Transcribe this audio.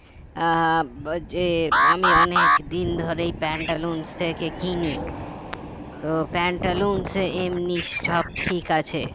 আহ বা যে আমি অনেক দিন ধরেই প্যান্টালুনস থেকে কিনি তো প্যান্টালুনসে এমনি সব ঠিক আছে